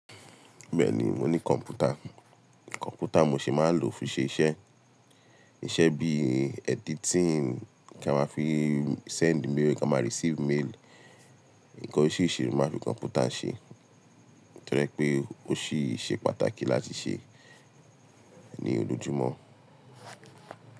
Bẹ́ẹ̀ni, mo ní kọ̀mpútà, kọ̀mpútà mo sì máa lò fún ṣe iṣẹ́. Iṣẹ́ bí editing, kí a máa fi send mail, kí a máa receive mail. Ǹkan orisiriu nimáa fi kọ̀mpútà ṣe, torí pé ó ṣì ṣe pàtàkì láti ṣe ní ojoojúmọ́